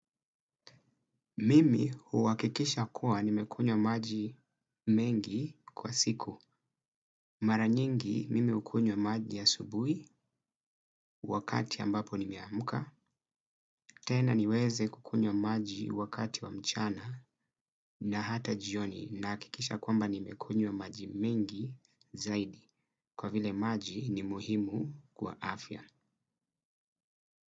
Mimi huhakikisha kuwa nimekunywa maji mengi kwa siku. Mara nyingi mimi hukunywa maji asubuhi wakati ambapo nime amka. Tena niweze kukunywa maji wakati wa mchana na hata jioni nahakikisha kwamba nimekunywa maji mengi zaidi. Kwa vile maji ni muhimu kwa afya.